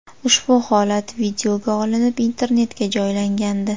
Ushbu holat videoga olinib, internetga joylangandi .